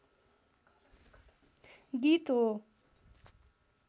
गीत हो।